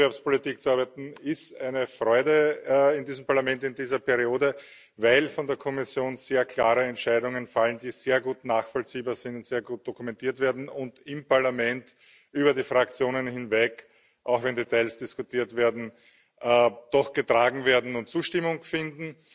An Wettbewerbspolitik zu arbeiten ist eine Freude, in diesem Parlament, in dieser Periode, weil von der Kommission sehr klare Entscheidungen fallen, die sehr gut nachvollziehbar sind, sehr gut dokumentiert werden und im Parlament über die Fraktionen hinweg auch wenn Details diskutiert werden doch getragen werden und Zustimmung finden.